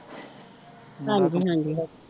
ਹਾਂਜੀ ਹਾਂਜੀ